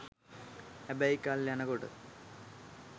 හැබැයි කල් යනකොට